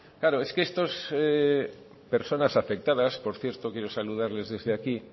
claro es que estas personas afectadas por cierto quiero saludarles desde aquí